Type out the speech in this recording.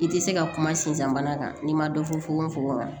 I tɛ se ka kuma sinzan kan n'i ma dɔ fɔ fukonfokon kɔnɔ